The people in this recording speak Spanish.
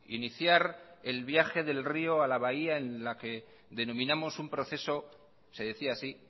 iniciar el viaje del río a la bahía en la que denominamos un proceso se decía así